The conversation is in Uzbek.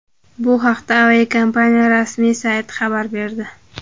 Bu haqda aviakompaniya rasmiy sayti xabar berdi .